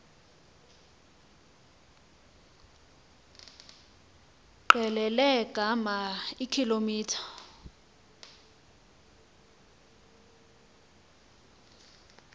qelele ngama eekilometha